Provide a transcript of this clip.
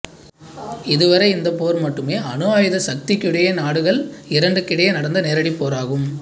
இதுவரை இந்த போர் மட்டுமே அணு ஆயுத சக்தியுடைய நாடுகள் இரண்டுக்கிடையில் நடந்த நேரடிப் போராகும்